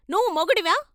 నువ్వు మొగుడివా?